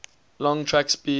long track speed